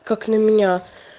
как на меня